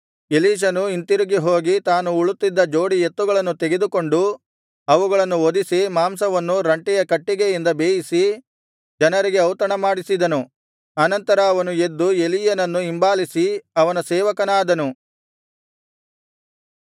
ಎಲೀಷನು ಹಿಂದಿರುಗಿ ಹೋಗಿ ತಾನು ಉಳುತ್ತಿದ್ದ ಜೋಡಿ ಎತ್ತುಗಳನ್ನು ತೆಗೆದುಕೊಂಡು ಅವುಗಳನ್ನು ವಧಿಸಿ ಮಾಂಸವನ್ನು ರಂಟೆಯ ಕಟ್ಟಿಗೆಯಿಂದ ಬೇಯಿಸಿ ಜನರಿಗೆ ಔತಣಮಾಡಿಸಿದನು ಅನಂತರ ಅವನು ಎದ್ದು ಎಲೀಯನನ್ನು ಹಿಂಬಾಲಿಸಿ ಅವನ ಸೇವಕನಾದನು